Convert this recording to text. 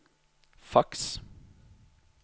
faks